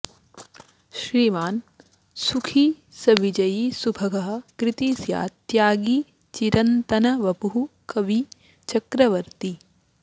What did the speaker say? श्रीमान् सुखी स विजयी सुभगः कृती स्यात् त्यागी चिरन्तनवपुः कवि चक्रवर्ती